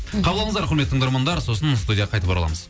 қабыл алыңыздар құрметті тыңдармандар сосын студияға қайтып ораламыз